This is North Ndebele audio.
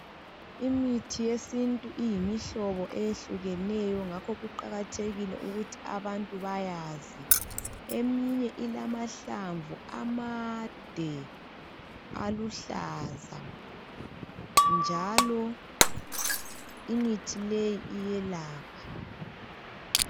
Imithi yesintu iyimihlobo eyehlukeneyo ngakho kuqakathekike ukuthi abantu bayazi. Eminye ilamahlamvu amade, aluhlaza, njalo imithi leyi iyelapha.